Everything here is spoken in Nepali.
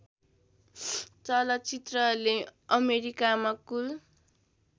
चलचित्रले अमेरिकामा कुल